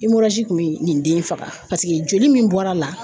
kun bɛ nin den in faga paseke joli min bɔr'a la